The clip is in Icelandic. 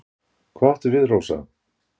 """Hvað áttu við, Rósa?"""